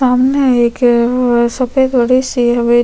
सामने एक सफ़ेद बड़ी-सी हवेली--